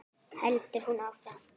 heldur hún áfram.